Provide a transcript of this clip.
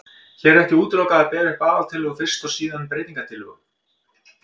Hér er ekki útilokað að bera upp aðaltillögu fyrst og síðan breytingatillögu.